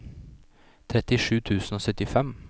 trettisju tusen og syttifem